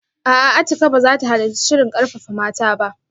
A'a, Atikah ba za ta halarci shirin karfafa mata ba